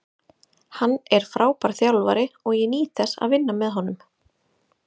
Hann er frábær þjálfari og ég nýt þess að vinna með honum.